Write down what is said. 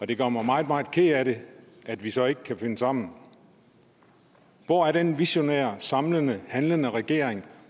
det gør mig meget meget ked af det at vi så ikke kan finde sammen hvor er den visionære samlende handlende regering